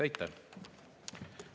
Aitäh!